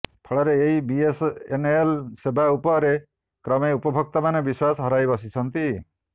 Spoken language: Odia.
ଫଳରେ ଏହି ବିଏସଏନଏଲ ସେବା ଉପରେ କ୍ରମେ ଉପଭୋକ୍ତାମାନେ ବିଶ୍ୱାସ ହରାଇ ବସିଛନ୍ତି